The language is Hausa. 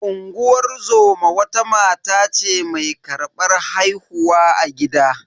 Unguwar zoma wata mata ce mai karbar haihuwa a gida.